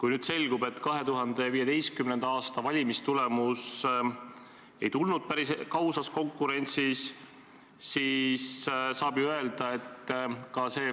Kui nüüd selgub, et 2015. aasta valimistulemus ei tulnud päris ausas konkurentsis, siis saab ju öelda, et ka see